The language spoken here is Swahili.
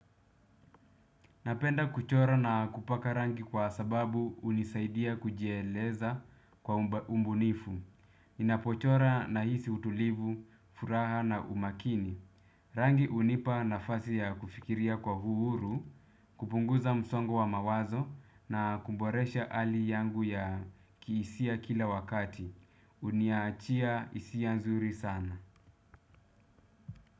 Napenda kuchora na kupaka rangi kwa sababu hunisaidia kujieleza kwa ubunifu. Ninapochora na hisi utulivu, furaha na umakini. Rangi hunipa nafasi ya kufikiria kwa uhuru, kupunguza msongo wa mawazo na kuboresha hali yangu ya kihisia kila wakati. Uniachia hisia nzuri sana.